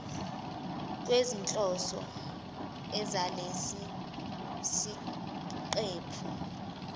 kwezinhloso zalesi siqephu